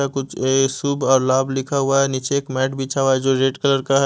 या कुछ ये शुभ और लाभ लिखा हुआ है नीचे एक मैट बिछा हुआ है जो रेड कलर का है।